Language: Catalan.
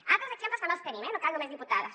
altres exemples també els tenim eh no cal només diputades